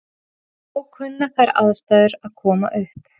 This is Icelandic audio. Þó kunna þær aðstæður að koma upp.